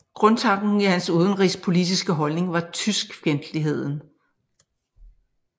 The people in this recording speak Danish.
Grundtanken i hans udenrigspolitiske holdning var tyskfjendtligheden